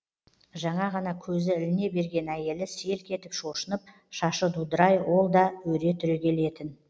жаңа ғана көзі іліне берген әйелі селк етіп шошынып шашы дудырай ол да өре түрегелетін